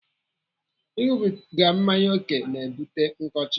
Ịnụbiga mmanya ókè na-ebute nkọcha.